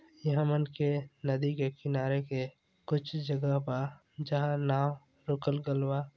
ई हमन के नदी के किनारे के कुछ जगह बा जहाँ नाव रोकल गल बा।